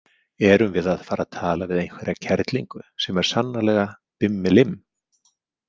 Erum við að fara að tala við einhverja kerlingu sem er sannarlega bimmelimm?